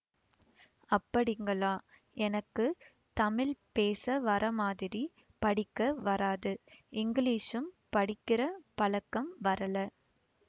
அப்படிங்களா எனக்கு தமிழ் பேச வரமாதிரி படிக்க வராது இங்கிலீஷும் படிக்கிற பழக்கம் வரலே